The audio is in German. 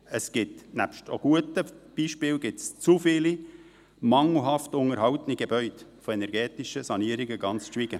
Es gibt – nebst auch guten Beispielen – zu viele mangelhaft unterhaltene Gebäude, von energetischen Sanierungen ganz zu schweigen.